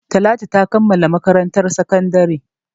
Talatu ta kammala makarantar sakandare.